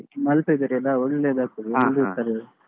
Malpe ಬೇರೆ ಅಲ್ಲಾ ಒಳ್ಳೆದಾಗ್ತಾದೆ .